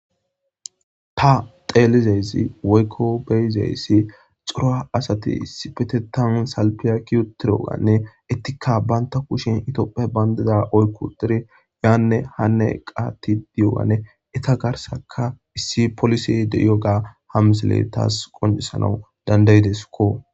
Ta Xelizaysi woykon beyizasi c'ora asati issippeteta salpeya eqi uttidoganne entikka banta kushen tophiya bandira oyki uttidi yane hane qatidi Etta garsanka issi polise de'iyoga ha misiley taw qonc'isanaw danda'idesikko.